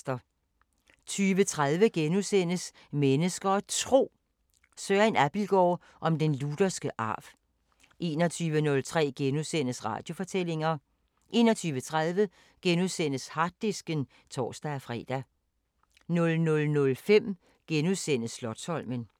20:30: Mennesker og Tro: Søren Abildgaard om den lutherske arv * 21:03: Radiofortællinger * 21:30: Harddisken *(tor-fre) 00:05: Slotsholmen *